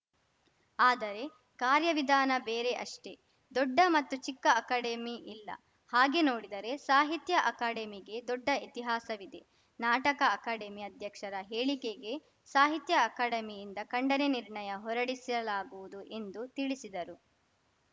ಆದರೆ ಕಾರ್ಯ ವಿಧಾನ ಬೇರೆ ಅಷ್ಟೇ ದೊಡ್ಡ ಮತ್ತು ಚಿಕ್ಕ ಅಕಾಡೆಮಿ ಇಲ್ಲ ಹಾಗೇ ನೋಡಿದರೆ ಸಾಹಿತ್ಯ ಅಕಾಡೆಮಿಗೆ ದೊಡ್ಡ ಇತಿಹಾಸವಿದೆ ನಾಟಕ ಅಕಾಡೆಮಿ ಅಧ್ಯಕ್ಷರ ಹೇಳಿಕೆಗೆ ಸಾಹಿತ್ಯ ಅಕಾಡೆಮಿಯಿಂದ ಖಂಡನೆ ನಿರ್ಣಯ ಹೊರಡಿಸಲಾಗುವುದು ಎಂದು ತಿಳಿಸಿದರು